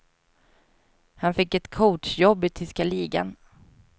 Han fick ett coachjobb i tyska ligan.